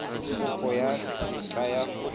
kopo ya tetla ya go